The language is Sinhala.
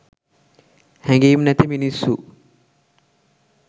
හැඟීම් නැති මිනිස්සු